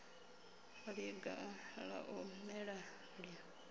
ḽiga ḽa u mela ḽi